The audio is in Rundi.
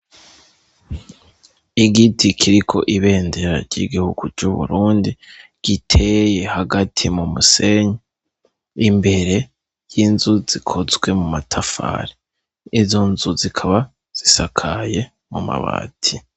Igiti kiriko ibendera ry'igihugu c'uburundi giteye hagati mu musenyi. Imbere y'inzu zikozwe mu matafari. Izo nzu zikaba zisakaye mu mabati.